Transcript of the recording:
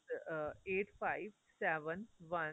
uh eight five seven one